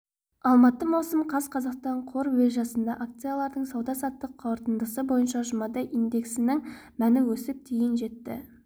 алматы маусым қаз қазақстан қор биржасындағы акциялардың сауда-саттық қорытындысы бойынша жұмада индексінің мәні өсіп дейін жетті